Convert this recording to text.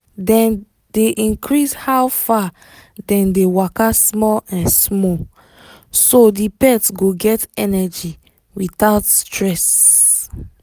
dem dey increase how far dem dey waka small um small so the pet go get energy without stress